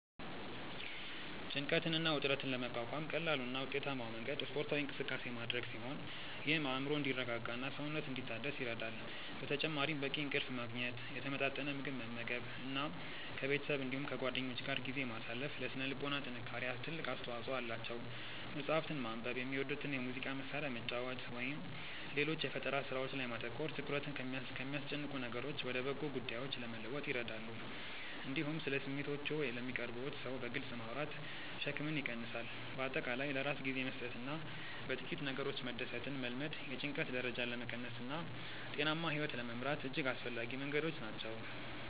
ጭንቀትን እና ውጥረትን ለመቋቋም ቀላሉ እና ውጤታማው መንገድ ስፖርታዊ እንቅስቃሴ ማድረግ ሲሆን ይህም አእምሮ እንዲረጋጋና ሰውነት እንዲታደስ ይረዳል። በተጨማሪም በቂ እንቅልፍ ማግኘት፣ የተመጣጠነ ምግብ መመገብ እና ከቤተሰብ እንዲሁም ከጓደኞች ጋር ጊዜ ማሳለፍ ለሥነ ልቦና ጥንካሬ ትልቅ አስተዋጽኦ አላቸው። መጽሐፍትን ማንበብ፣ የሚወዱትን የሙዚቃ መሣሪያ መጫወት ወይም ሌሎች የፈጠራ ሥራዎች ላይ ማተኮር ትኩረትን ከሚያስጨንቁ ነገሮች ወደ በጎ ጉዳዮች ለመለወጥ ይረዳሉ። እንዲሁም ስለ ስሜቶችዎ ለሚቀርቡዎት ሰው በግልጽ ማውራት ሸክምን ይቀንሳል። በአጠቃላይ ለራስ ጊዜ መስጠትና በጥቂት ነገሮች መደሰትን መልመድ የጭንቀት ደረጃን ለመቀነስና ጤናማ ሕይወት ለመምራት እጅግ አስፈላጊ መንገዶች ናቸው።